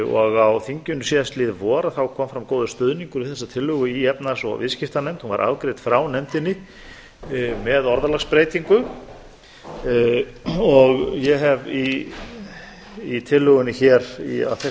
og á þinginu síðastliðið vor þá kom fram góður stuðningur við þessa tillögu í efnahags og viðskiptanefnd hún var afgreidd frá nefndinni með orðalagsbreytingu og ég hef í tillögunni hér að þessu